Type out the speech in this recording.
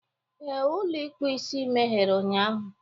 Ee, ụlọ ịkpụ isi meghere ụnyaahụ.